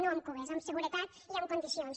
no amb cisternes amb seguretat i en condicions